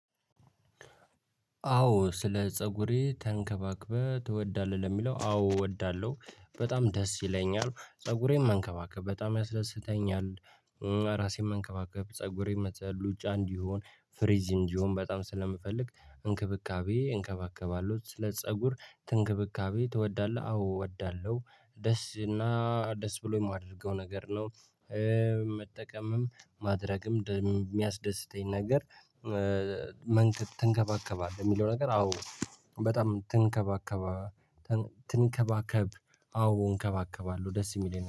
አዎ ስለ ፀጉሬ ተንከባክበህ ትወዳለህ? ለሚለው አዎ እወዳለሁ። በጣም ደስ ይለኛል። ፀጉሬን መንከባከብ በጣም ያስደስተኛል። ራሴን መንከባከብ ፀጉሬን መጥሉ ሉጫ እንዲሆን ፍሪዝ እንዲሆን በጣም ስለምፈልግ እንክብካቤ እንከባከባለሁ። ስለ ፀጉር እንክብካቤ ትወዳለህ? አዎ እወዳለሁ። ደስ እና ደስ ብሎኝ የማደርገው ነገር ነው። መጠቀምም ማድረግም የሚያስደስተኝ ነገር ትንከባከባለህ የሚለው ነገር አዎ በጣም ትንከባከባ ትንከባከብ አዎ እንከባከባለሁ። ደስ የሚለኝ